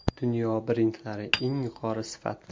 Dunyo brendlari, eng yuqori sifat!